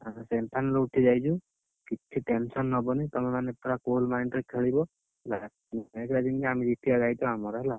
ଆମେ semifinal ରୁ ଉଠିଯାଇଛୁ। କିଛି tension ତମେମାନେ ପୁରା cool mind ରେ ଖେଳିବ, ହେଲା। ଯେମିତି କ ଜିତିଆ ଦାଇତ୍ଵ ଆମର ହେଲା।